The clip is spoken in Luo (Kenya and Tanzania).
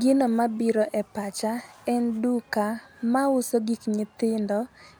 Gino mabiro e pacha en duka ma uso gik nyithindo